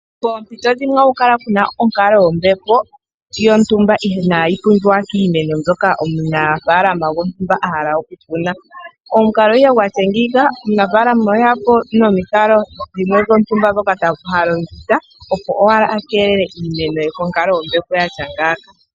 Poompito dhimwe ohaku kala kuna onkalo yombepo yontumba iinayi pumbiwa kiimeno yontumba mbyoka omunafalama gontumba a hala okukuna komukalo ihe gwatya ngeyi omunafalama oheya po nomikalo dhimwe dhontumba dhoka ha longitha opo owala keelele iimeno ye konkalo yombepo yatya ngaaka.